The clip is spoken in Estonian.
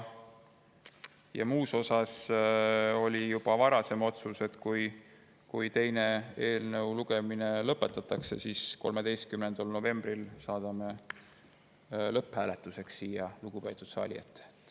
Muus osas oli juba varasem otsus, et kui eelnõu teine lugemine lõpetatakse, siis 13. novembril saadame eelnõu lõpphääletuseks siia lugupeetud saali ette.